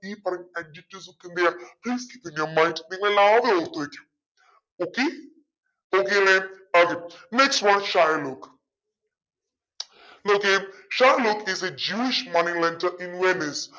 ഈ പറയുന്ന adjectives ഒക്കെ എന്തയ്യ keep it in your mind നിങ്ങളെല്ലാരും ഓർത്തു വെച്ചു okay okay അല്ലെ okay next one Shylock okay Shylock is a jewish moneylender in venice